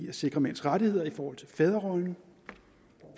at sikre mænds rettigheder i forhold til fædrerollen